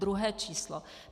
Druhé číslo.